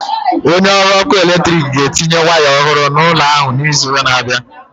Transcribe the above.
Onye ọrụ ọkụ eletrik ga-etinye waya ọhụrụ n'ụlọ ahụ n'izu na-abịa.